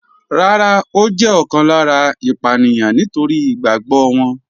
Rárá, ó jẹ́ ọ̀kan lára ìpànìyàn nítorí ìgbàgbọ́ wọn.